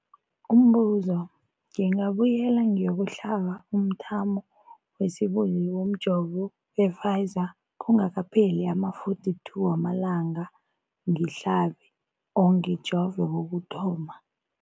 Umbuzo, ngingabuyela ngiyokuhlaba umthamo wesibili womjovo we-Pfizer kungakapheli ama-42 wamalanga ngihlabe or ngijove kokuthoma.